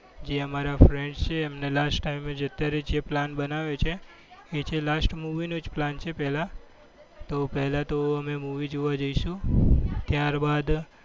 જે અમારા friends છે એ અમને last time છે અત્યારે plan બનાવ્યો છે. એ છે last movie નો જ plan છે પહેલા તો પહેલા તો અમે movie જોવા જઈશું. ત્યારબાદ